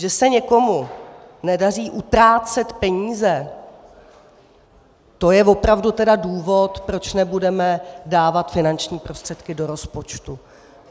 Že se někomu nedaří utrácet peníze, to je opravdu tedy důvod, proč nebudeme dávat finanční prostředky do rozpočtu.